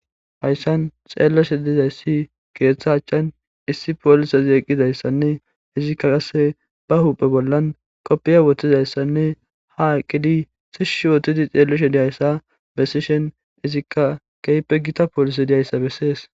Hayssan xeelleshe dizayssi keeththa achchan issi poolise zeeqqizayssanne izikka ase ba huphe bollan koppiya woththizayssanne ha aqqidi sish shootidi xeelleshe diyayssa bessi shen izikka keype gita poolise diyayssa bessees.